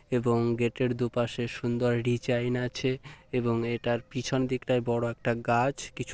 এবং গেট এর দুপাশে সুন্দর ডিজাইন আছে এবং এটার পিছনে দিকটায় বড়ো একটা গাছ কিছু--